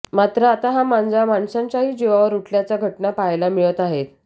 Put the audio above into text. मात्र आता हा मांजा माणसांच्याही जीवावर उठल्याच्या घटना पाहायला मिळत आहेत